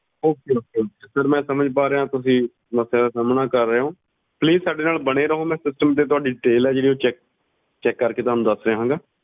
okayokay ਮੈਂ ਸਮਜ ਪਾ ਰਿਹਾ ਤੁਸੀਂ ਕਿਸ ਸਮੱਸਿਆ ਦਾ ਸਾਮਣਾ ਕਰ ਰਹੇ ਹੋ ਸਾਡੇ ਨਾਲ ਬਣੋ ਰਹੋ ਮੈਂ ਤੇ ਜਿਹੜੀ ਹੈ ਉਹ ਕਰਕੇ ਤੁਹਾਨੂੰ ਦੱਸ ਰਿਹਾ ਹੋਊਂਗਾ